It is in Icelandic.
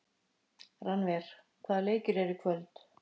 Rannver, hvaða leikir eru í kvöld?